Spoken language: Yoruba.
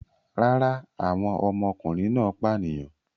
Rárá, àwọn ọmọkùnrin náà pànìyàn.